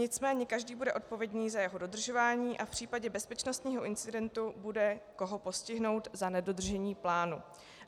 Nicméně každý bude odpovědný za jeho dodržování a v případě bezpečnostního incidentu bude koho postihnout za nedodržení plánu.